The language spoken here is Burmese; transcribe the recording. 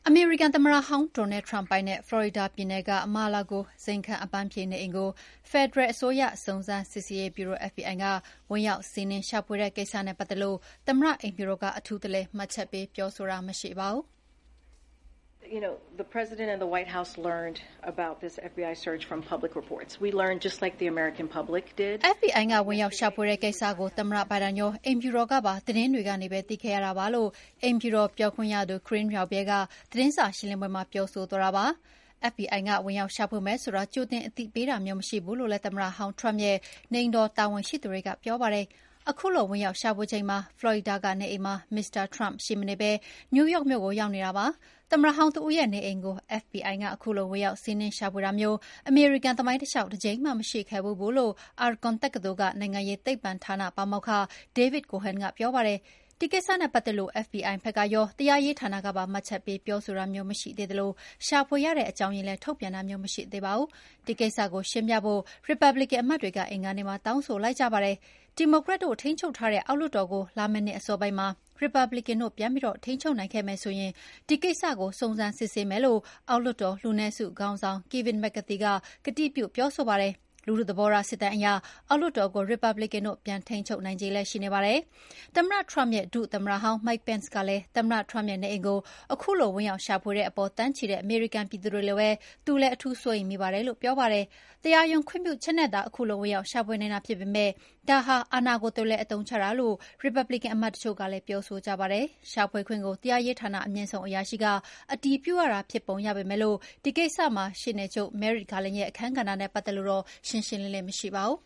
အမေရိကန်သမ္မတဟောင်း Donald Trump ပိုင်တဲ့ ဖလော်ရီဒါပြည်နယ်က Mar-a-Largo ဇိမ်ခံ အပန်းဖြေနေအိမ်ကို ဖယ်ဒရယ်အစိုးရ စုံစမ်းစစ်ဆေးရေးဗျုရို FBI က ဝင်ရောက်စီးနင်း ရှာဖွေတဲ့ကိစ္စနဲ့ပတ်သက်လို့ သမ္မတအိမ်ဖြူတော်က အထူးတလည် မှတ်ချက်ပေးပြောဆိုတာမရှိပါဘူး။ “FBI ကဝင်ရောက်ရှာဖွေတဲ့ကိစ္စကို သမ္မတ ဘိုင်ဒန်ရော အိမ်ဖြူတော်ကပါ သတင်းတွေကနေပဲ သိခဲ့ရတာပါ” လို့ အိမ်ဖြူတော်ပြောခွင့်ရ Karine Jean-Pierre က သတင်းစာရှင်းလင်းပွဲမှာ ပြောဆိုသွားတာပါ။ FBI ကဝင်ရောက်ရှာဖွေမယ်ဆိုတာ ကြိုတင်အသိပေးတာမျိုးမရှိဘူးလို့ သမ္မတဟောင်း Trump ရဲ့အိမ်တော်တာဝန်ရှိသူတွေကပြောပါတယ်။ ခုလိုဝင်ရောက်ရှာဖွေချိန်မှာ Florida ကနေအိမ်မှာ မစ္စတာ Tump ရှိမနေပဲ နယူးယောက်မြို့ကိုရောက်နေတာဖြစ်ပါတယ်။ သမ္မတဟောင်းတဦးရဲ့ နေအိမ်ကို FBI ကခုလိုဝင်ရောက်စီးနင်းရှာဖွေတာမျိုး အမေရိကန်သမိုင်းတလေ ျှာက် တကြိမ်မှ မရှိခဲ့ဖူးဘူးလို့ Akron တက္ကသိုလ် နိုင်ငံရေးသိပ္ပံဌာနပါမောက္ခ David Cohen ကပြောပါတယ်။ ဒီကိစ္စနဲ့ပတ်သက်လို့ FBI ဖက်ကရော တရားရေးဌာနကပါ မှတ်ချက်ပေးပြောဆိုတာမျိုးမရှိသေးသလို ရှာဖွေရတဲ့အကြောင်းရင်းလည်း ထုတ်ပြန်တာမျိုးမရှိသေးပါဘူး။ ဒီကိစ္စကို ရှင်းပြဖို့ ရီပတ်ဘလစ်ကန် အမတ်တွေက အင်္ဂါနေ့မှာ တောင်းဆိုလိုက်ကြပါတယ်။ ဒီမိုကရက်တို့ ထိန်းချုပ်ထားတဲ့ အောက်လွှတ်တော်ကို လာမယ့်နှစ်အစောပိုင်းမှာ ရီပတ်ဘလစ်ကန်တို့ ပြန်ပြီးထိန်းချုပ်နိုင်ခဲ့မယ်ဆိုရင် ဒီကိစ္စကို စုံစမ်းစစ်ဆေးမယ်လို့ အောက်လွှတ်တော် လူနည်းစုခေါင်းဆောင် Kevin McCarthy က ကတိပြုပြောဆိုပါတယ်။ လူထုသဘောထားစစ်တမ်းအရ အောက်လွှတ်တော်ကို ရီပတ်ဘလစ်ကန်တို့ ပြန်ထိန်းချုပ်နိုင်ခြေလည်း ရှိနေပါတယ်။ သမ္မတ Trump ရဲ့ ဒုသမ္မတဟောင်း Mike Pence ကလည်း သမ္မတ Trump ရဲ့နေအိမ်ကို ခုလိုဝင်ရောက်ရှာဖွေတဲ့အပေါ် သန်းနဲ့ချီတဲ့ အမေရိကန်ပြည်သူတွေလိုပဲ သူလည်း အထူးစိုးရိမ်မိပါတယ်လု့ိ ပြောပါတယ်။ တရားရုံးခွင့်ပြုချက်နဲ့သာ ခုလိုဝင်ရောက်ရှာဖွေနိုင်တာဖြစ်ပေမယ့် ဒါဟာအာဏာကို တလွှဲအသုံးချတာလို့ ရီပတ်ဘလစ်ကန်အမတ်တချို့ ကလည်း ပြောဆိုကြပါတယ်။ ရှာဖွေခွင့်ကို တရားရေးဌာန အမြင့်ဆုံးအရာရှိက အတည်ပြုရတာဖြစ်ပုံရပေမယ့် ဒီကိစ္စမှာ ရှေ့နေချုပ် Merrick Garland ရဲ့ အခန်းကဏ္ဍနဲ့ ပတ်သက်လို့တော့ ရှင်းရှင်းလင်းလင်းမရှိပါဘူး